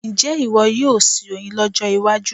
Ǹjẹ́ ìwọ yóò sin oyin lọ́jọ́ iwájú?